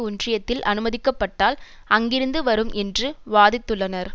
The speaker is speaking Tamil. ஒன்றியத்தில் அனுமதிக்கப்பட்டால் அங்கிருந்து வரும் என்றும் வாதிட்டுள்ளனர்